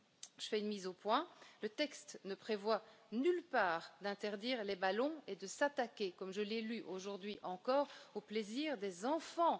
Je tiens à préciser que le texte ne prévoit en aucun cas d'interdire les ballons et de s'attaquer, comme je l'ai lu aujourd'hui encore, au plaisir des enfants.